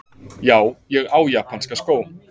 Já, ég á japanska skó,!